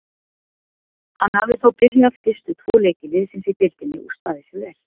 Hann hafði þó byrjað fyrstu tvo leiki liðsins í deildinni og staðið sig vel.